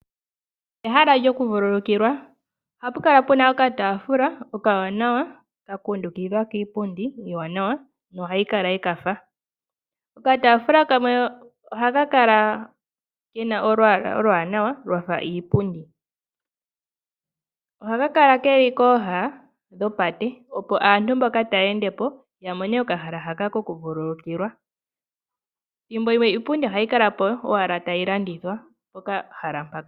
Ehala lyokuvululukilwa. Ohapu kala pu na okataafula okawanawa ka kundukidhwa kiipundi iiwanawa nohayi kala ye ka fa. Okataafula kamwe ohaka kala ke na olwaala oluwanawa lwa fa iipundi. Ohaka kala ke li kooha dhopate, opo aantu mboka taa ende po ta mone okahala haka kokuvululukilwa. Thimbo limwe iipundi ohayi kala po owala tayi landithwa pokahala mpaka.